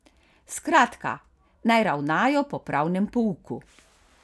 Skratka, naj ravnajo po pravnem pouku.